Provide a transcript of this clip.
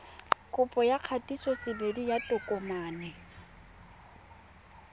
kopo ya kgatisosebedi ya tokomane